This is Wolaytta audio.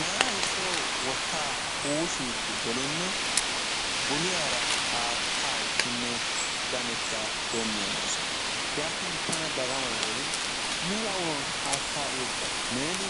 Naa soo wotta huushshidi gelinne bulliyaara haatatekkine ganetta doommi agiis yaanin tana dagamay worin mela uluwan haatta uyyoppa nen